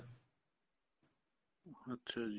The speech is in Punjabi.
ਅੱਛਾ ਜੀ